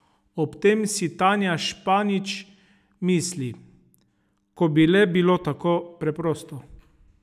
Ob tem si Tanja Španić misli: 'Ko bi le bilo to tako preprosto!